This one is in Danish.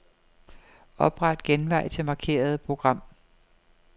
Opret genvej til markerede program.